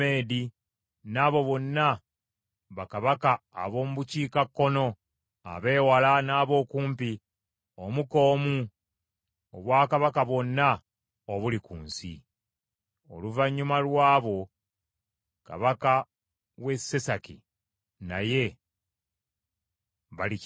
n’abo bonna bakabaka ab’omu bukiikakkono, abeewala, n’ab’okumpi, omu ku omu, obwakabaka bwonna obuli ku nsi. Oluvannyuma lwabo kabaka w’e Sesaki naye balikinywa.